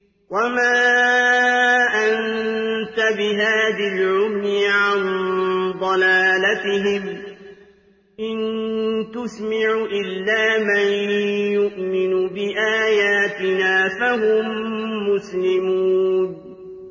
وَمَا أَنتَ بِهَادِ الْعُمْيِ عَن ضَلَالَتِهِمْ ۖ إِن تُسْمِعُ إِلَّا مَن يُؤْمِنُ بِآيَاتِنَا فَهُم مُّسْلِمُونَ